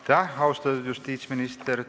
Aitäh, austatud justiitsminister!